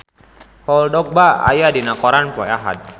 Paul Dogba aya dina koran poe Ahad